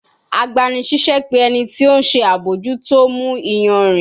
Agbanisiṣẹ pe ẹni ti o nṣe abojuto mu iyanrin